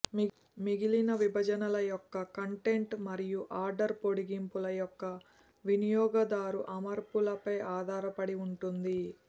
మిగిలిన విభజనల యొక్క కంటెంట్ మరియు ఆర్డర్ పొడిగింపుల యొక్క వినియోగదారు అమర్పులపై ఆధారపడి ఉంటుంది